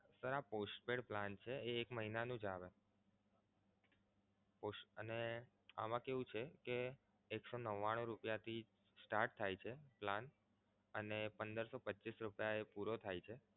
sir આ postpaid plan છે એ એક મહિનાનું જ આવે અને આમાં કેવું છે કે એક સો નવ્વાણું રૂપિયાથી start થાય છે plan અને પંદરસો પચીસ રૂપિયા એ પૂરો થાય છે.